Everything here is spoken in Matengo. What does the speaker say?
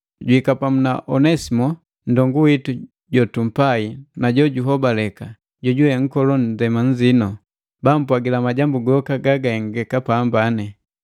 Juhika pamu na Onesimo, nndongu witu jotumpai na jojuhobaleka, jojuwe nkola ndema nziino. Bampwagila majambu goka gagahengeka pamba.